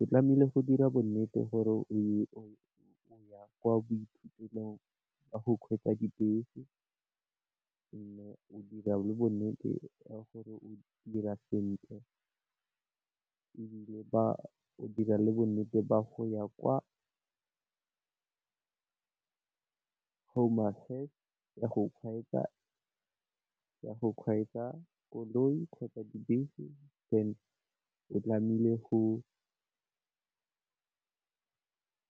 O tlamehile go dira bonnete gore o ya kwa boithutelong jwa go kgweetsa dibese, and-e o dira le bonnete ba gore o dira sentle. Ebile ba dire le bonnete ba go ya kwa home affairs ya go kgweetsa koloi kgotsa dibese then o tlamehile go